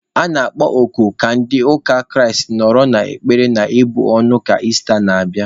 A na-akpọ oku ka ndị ụka Kraịst nọrọ n'ekpere na ibu ọnụ ka Ista n'abịa.